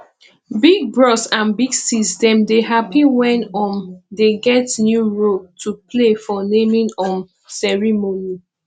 big bros and big sis dem dey happy wen um dem get new role to play for naming um ceremony